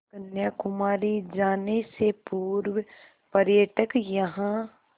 कन्याकुमारी जाने से पूर्व पर्यटक यहाँ